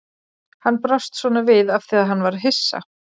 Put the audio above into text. Hann brást svona við af því að hann var hissa.